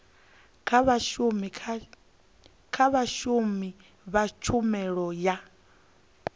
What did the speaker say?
kha vhashumi vha tshumelo ya